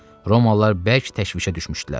Romalılar bərk təşvişə düşmüşdülər.